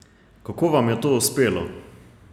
Kako vam je to uspelo?